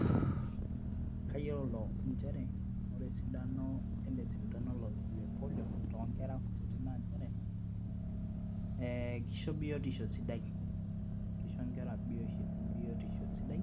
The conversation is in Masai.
Uuh kayiolo inchere ore esidano ele sindano le polio toonkera kutiti nanchere eh kisho biotiosho sidai kisho inkera biotisho sidai